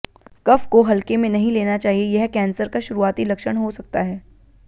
कफ को हल्के में नहीं लेना चाहिए यह कैंसर का शुरुआती लक्षण हो सकता है